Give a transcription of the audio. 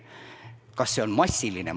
Kas see on massiline?